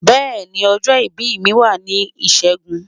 beeni, ojo ibi mi wa ni Ishegun